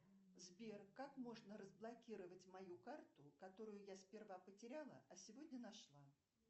сбер как можно разблокировать мою карту которую я сперва потеряла а сегодня нашла